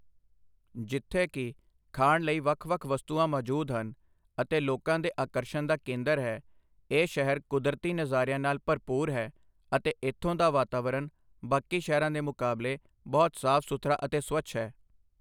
ਜਿੱਥੇ ਕਿ ਖਾਣ ਲਈ ਵੱਖ ਵੱਖ ਵਸਤੂਆਂ ਮੌਜੂਦ ਹਨ ਅਤੇ ਲੋਕਾਂ ਦੇ ਆਕਰਸ਼ਨ ਦਾ ਕੇਂਦਰ ਹੈ ਇਹ ਸ਼ਹਿਰ ਕੁਦਰਤੀ ਨਜ਼ਾਰਿਆਂ ਨਾਲ ਭਰਪੂਰ ਹੈ ਅਤੇ ਇੱਥੋਂ ਦਾ ਵਾਤਾਵਰਨ ਬਾਕੀ ਸ਼ਹਿਰਾਂ ਦੇ ਮੁਕਾਬਲੇ ਬਹੁਤ ਸਾਫ ਸੁਥਰਾ ਅਤੇ ਸਵੱਛ ਹੈ